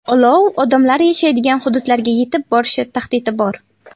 Olov odamlar yashaydigan hududlarga yetib borishi tahdidi bor.